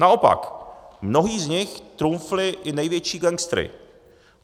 Naopak, mnozí z nich trumfli i největší gangstery.